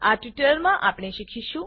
આ ટ્યુટોરીયલમાં આપણે શીખીશું